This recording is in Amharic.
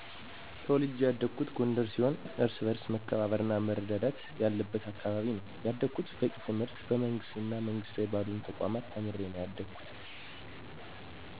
ተውልጀ ያደኩት ጎንደር ሲሆን እርስ በርስ መከባበር እና መረዳዳት ያለብት አካባቢ ነው ያደኩት። በቂ ትምህርትን በመንግስት እና መንግስታዊ ባልሆኑ ተቋማት ተምሬ ነው ያደኩት።